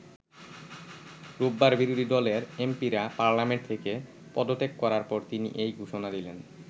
রোববার বিরোধী দলের এমপিরা পার্লামেন্ট থেকে পদত্যাগ করার পর তিনি এই ঘোষণা দিলেন।